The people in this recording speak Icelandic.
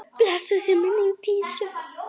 Blessuð sé minning Dísu.